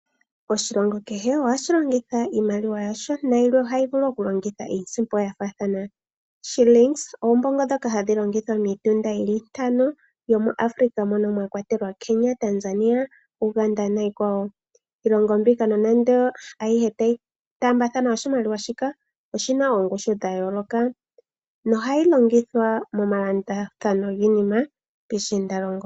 Oshilongo kehe ohashi longitha iimaliwa yasho. Yilwe ohayi vulu oku longitha iisimpo yafathana. Shilingis ombongo dhoka hadhi longithwa miitunda yili itano. Yomu Africa moka mwakwatelwa Kenya, Tanzania, Uganda niikwawo. Iilongo mboka nonando tayi taamba thana oshimaliwa shika oshina oongushu dha yoloka. No hayi longithwa moma landathano gayoloka piishinda longo.